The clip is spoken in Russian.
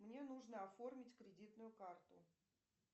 мне нужно оформить кредитную карту